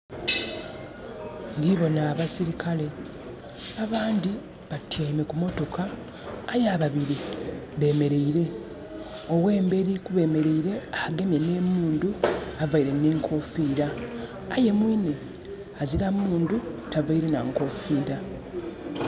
Ndibona abasilikale. Abandi batyaime kumotoka, aye ababiri beemeleire. Ow'emberi kubeemeleire agemye n'emundu, avaire n'enkoofira. Aye mwiine azira mundu tavaire na nkofiira.